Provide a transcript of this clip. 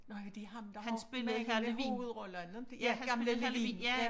Nå ja det ham der har mange med hovedroller ikke ja han spillede Hr. Levin